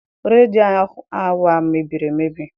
Redio our mebiri emebi.